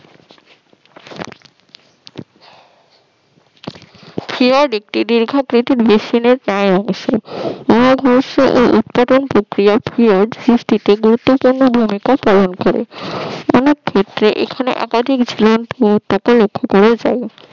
ক্ষীয়ত একটি উৎপাদন সৃষ্টিতে ক্ষীয়ত একটি ভূমিকা পালন করেছে অনেক ক্ষেত্রে এখানে একাধিক ঝুলন্ত উপত্যকা লক্ষ করা যায়